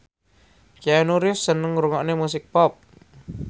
Keanu Reeves seneng ngrungokne musik pop